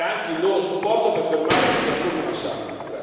Dobbiamo avere anche il loro supporto per fermare questo assurdo massacro.